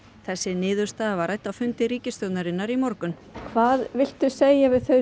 þessi niðurstaða var rædd á fundi ríkisstjórnarinnar í morgun hvað viltu segja við þau